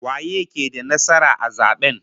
Waye ke da nasara a zaben?